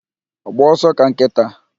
Gbaa ọsọ ka nkịta